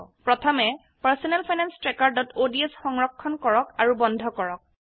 প্ৰথমে personal finance trackerঅডছ সংৰক্ষন কৰক আৰু বন্ধ কৰক